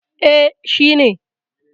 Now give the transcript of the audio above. E, shi ne.